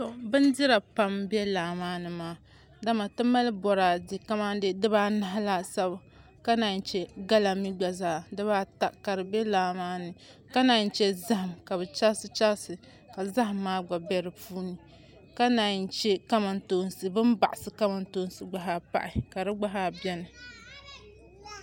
Bindira pam n bɛ laa maa ni maa dama mali boraadɛ kamani dibaanahi laasabu ka naan chɛ gala mii gba zaa dibaata ka di bɛ laa maa ni ka naan chɛ zaham ka bi chɛrisi chɛrisi ka zaham maa gba bɛ di puuni ka naan chɛ bin baɣasi kamantoosi gba zaa pahi ka di gba zaa bɛni